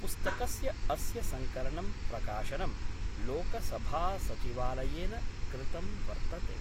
पुस्तकस्य अस्य संकलनं प्रकाशनं लोकसभासचिवालयेन कृतं वर्तते।